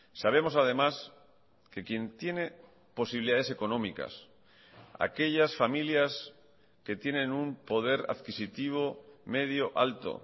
sabemos además que quien tiene posibilidades económicas aquellas familias que tienen un poder adquisitivo medio alto